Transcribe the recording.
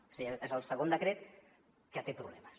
és a dir és el segon decret que té problemes